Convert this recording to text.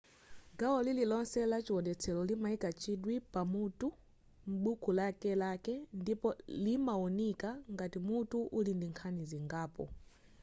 gawo lililonse la chiwonetselo limayika chidwi pa mutu m'buku lakelake ndipo limawunika ngati mutu uli ndi nkhani zingapo